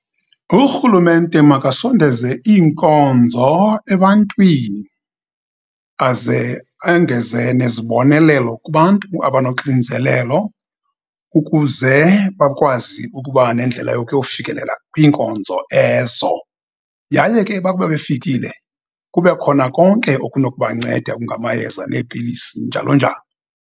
Urhulumente makasondenze iinkonzo ebantwini, aze engeze nezibonelelo kubantu abanoxinzelelo, ukuze bakwazi ukuba nendlela yokuyofikelela kwinkonzo ezo. Yaye ke, bakuba befikile, kube khona konke okunokubanceda okungamayeza, neepilisi, njalo njalo.